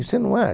Você não acha?